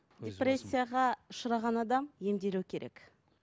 депрессияға ұшыраған адам емделуі керек